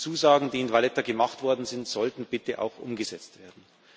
Die Zusagen, die in Valletta gemacht worden sind, sollten bitte auch umgesetzt werden!